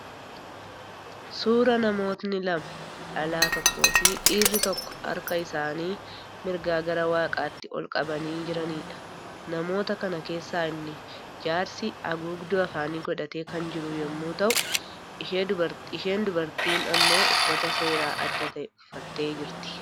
Suuraa namootni lama, dhalaa tokkoo fi dhiirri tokko harka isaanii mirgaa gara waaqaatti ol qabanii jiraniidha. Namoota kana keessaa inni jaarsi haguugduu afaanii godhatee kan jiru yommuu ta'u isheen dubartiin immoo uffata seeraa adda ta'e uffattee jirti.